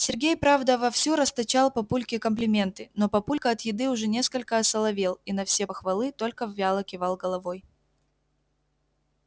сергей правда вовсю расточал папульке комплименты но папулька от еды уже несколько осоловел и на все похвалы только вяло кивал головой